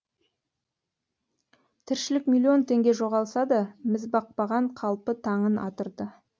тіршілік миллион теңге жоғалса да мізбақпаған қалпы таңын атырды